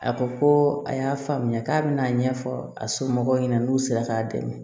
A ko ko a y'a faamuya k'a bɛna a ɲɛfɔ a somɔgɔw ɲɛna n'u sera k'a dɛmɛ